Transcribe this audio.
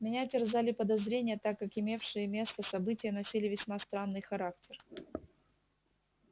меня терзали подозрения так как имевшие место события носили весьма странный характер